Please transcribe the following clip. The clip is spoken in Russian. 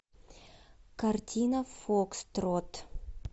картина фокстрот